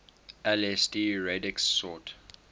lsd radix sort